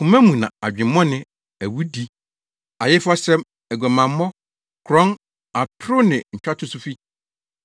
Koma mu na adwemmɔne, awudi, ayefasɛm, aguamammɔ, korɔn, atoro ne ntwatoso fi.